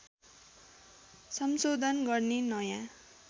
संशोधन गर्ने नयाँ